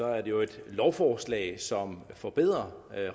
er det jo et lovforslag som forbedrer